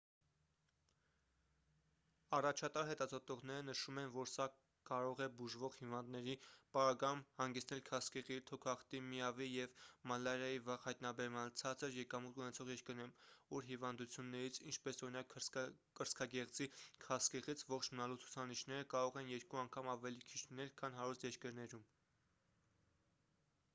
առաջատար հետազոտողները նշում են որ սա կարող է բուժվող հիվանդների պարագայում հանգեցնել քաղցկեղի թոքախտի միավ-ի և մալարիայի վաղ հայտնաբերմանը ցածր եկամուտ ունեցող երկրներում ուր հիվանդություններից ինչպես օրինակ կրծքագեղձի քաղցկեղից ողջ մնալու ցուցանիշները կարող են երկու անգամ ավելի քիչ լինել քան հարուստ երկրներում: